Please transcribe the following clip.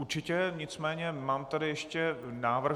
Určitě, nicméně mám tady ještě návrh.